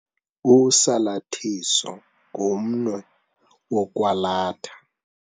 Usalathiso ngumnwe wokwalatha.